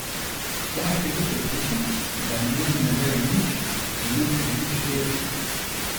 Tjaž je bil prepričan, da o njem ne vejo nič in nočejo nič vedeti.